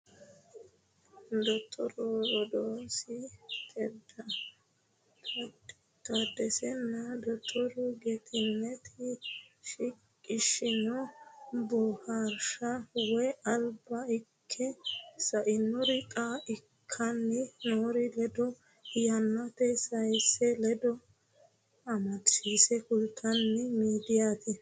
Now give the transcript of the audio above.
Dottoru roodaasi taaddesenna dottoru getinneti shiqishshanni boohaarsha woyi Alba ikke sainore xa ikkanni noori ledo yannate sayinse ledo amadisiisse kultanno miidiiyaati.